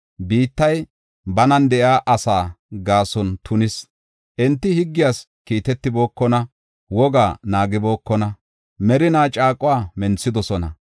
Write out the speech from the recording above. Biittay banan de7iya asaa gaason tunis. Enti higgiyas kiitetibookona; wogaa naagibookona; merinaa caaquwa menthidosona.